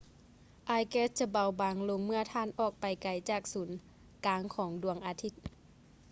ອາຍແກັສຈະເບົາບາງລົງເມື່ອທ່ານອອກໄປໄກຈາກສູນກາງຂອງດວງອາທິດ